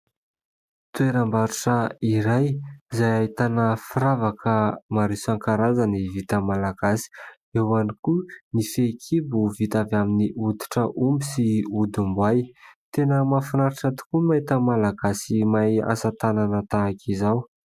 Toeram-barotra iray izay ahitana firavaka maro isankarazany vita malagasy; eo ihany koa ny fehikibo vita avy amin'ny hoditra omby sy hodim-boay. Tena mahafinaritra tokoa mahita Malagasy mahay asa-tanana tahaka izao.